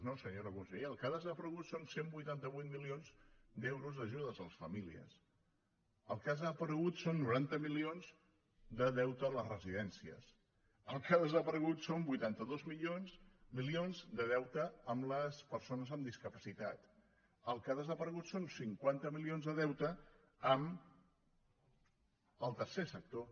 no senyora consellera el que ha desaparegut són cent i vuitanta vuit milions d’euros d’ajudes a les famílies el que ha desaparegut són noranta milions de deute a les residències el que ha desaparegut són vuitanta dos milions de deute amb les persones amb discapacitat el que ha desaparegut són cinquanta milions de deute amb el tercer sector